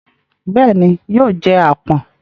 Bẹ́ẹ̀ ni, yóò jẹ àpọ̀n.